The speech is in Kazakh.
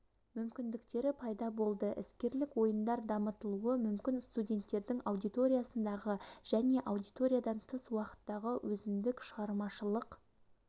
мүмкіндіктері пайда болды іскерлік ойындар дамытылуы мүмкін студенттердің аудиториядағы және аудиториядан тыс уақыттағы өзіндік шығармашылық